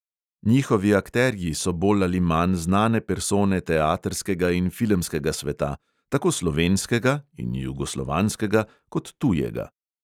Njihovi akterji so bolj ali manj znane persone teatrskega in filmskega sveta, tako slovenskega (in jugoslovanskega) kot tujega.